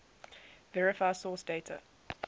verify source date